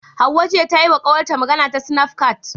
Hauwa jiya tana yima kawar ta magana ta sinafcat